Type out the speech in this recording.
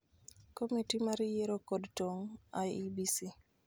Komiti mar yiero kod tong' (IEBC)